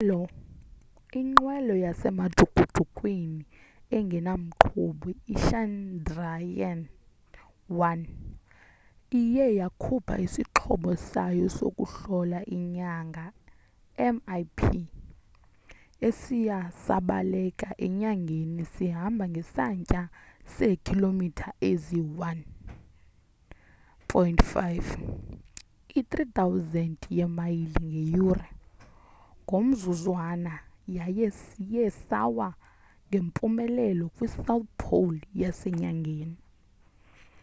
inqwelo yasemajukujukwini engena mqhubi ichandrayaan-1 iye yakhupha isixhobo sayo sokuhlola inyanga mip esiye sabaleka enyangeni sihamba ngesantya seekhilomitha eziyi-1.5 i-3000 yeemayile ngeyure ngomzuzwana yaye siye sawa ngempumelelo kwi-south pole yasenyangeni